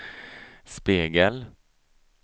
spegel